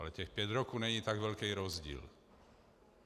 Ale těch pět roků není tak velký rozdíl.